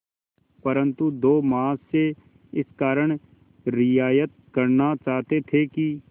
परंतु दो महाशय इस कारण रियायत करना चाहते थे कि